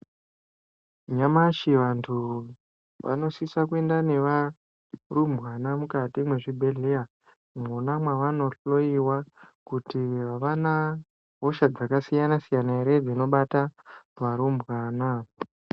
Nyamashi vantu vanosisa kuenda neva rumbwana mukati mezvibhedhlera mona mwavaono hloyiwa kuti havana hosha dzakasiyana siyana here dzinobata varumbwana.